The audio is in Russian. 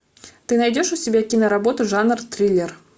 ты найдешь у себя киноработу жанр триллер